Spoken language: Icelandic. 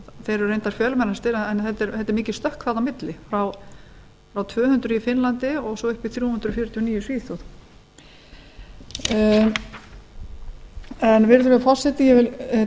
þeir eru reyndar fjölmennastir en þetta er mikið stökk þarna á milli frá tvö hundruð í finnlandi og svo upp í þrjú hundruð fjörutíu og níu í svíþjóð virðulegur forseti ég